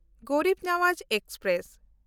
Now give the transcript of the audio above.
Garib Nawaz express